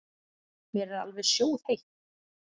Mér er alveg sjóðheitt.